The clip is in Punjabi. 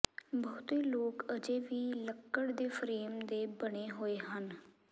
ਬਹੁਤੇ ਲੋਕ ਅਜੇ ਵੀ ਲੱਕੜ ਦੇ ਫਰੇਮ ਦੇ ਬਣੇ ਹੋਏ ਹਨ